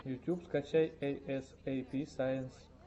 ютуб скачай эй эс эй пи сайенс